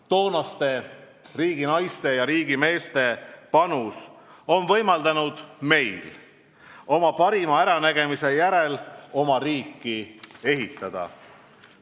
Toonaste riiginaiste ja riigimeeste panus on võimaldanud meil oma parima äranägemise järgi oma riiki ehitada.